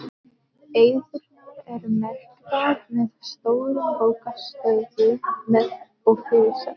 Eyðurnar eru merktar með stórum bókstöfum og fyrirsögnum.